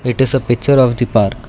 it is a picture of the park.